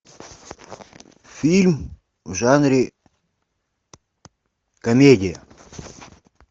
фильм в жанре комедия